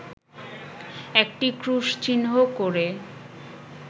একটি ক্রুশচিহ্ন করে